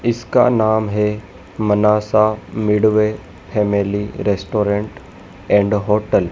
इसका नाम हैं Manasa midway family restaurant and hotel --